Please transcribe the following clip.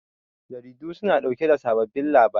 Jaridu su na ɗauke da sababbin labarai